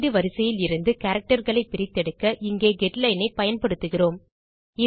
உள்ளீடு வரிசையிலிருந்து characterகளை பிரித்தெடுக்க இங்கே கெட்லைன் ஐ பயன்படுத்துகிறோம்